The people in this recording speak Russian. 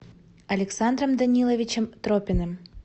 александром даниловичем тропиным